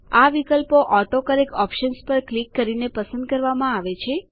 આ વિકલ્પો autocorrect options પર ક્લિક કરીને પસંદ કરવામાં આવે છે